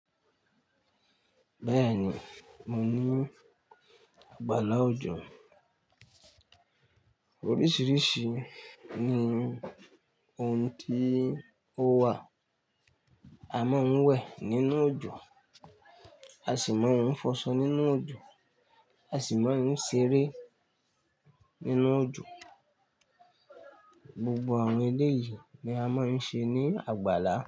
Bẹ́ẹ̀ni mo ní àgbàlá òjò. Oríṣiríṣi ni ohun tí ó wà. A máa ń wẹ̀ nínú òjò, a sì máa ń fọṣọ nínú òjò, a sì máa ń ṣeré nínú òjò. Gbogbo àwọn eléyìí ni a máa ń ṣe ní àgbàlá.